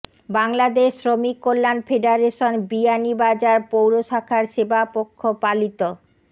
বাংলাদেশ শ্রমিক কল্যাণ ফেডারেশন বিয়ানীবাজার পৌর শাখার সেবা পক্ষ পালিত